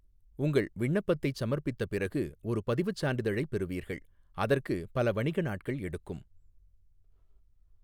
உங்கள் விண்ணப்பத்தைச் சமர்ப்பித்த பிறகு ஒரு பதிவுச் சான்றிதழைப் பெறுவீர்கள், அதற்கு பல வணிக நாட்கள் எடுக்கும்.